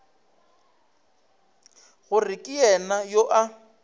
gore ke yena yo a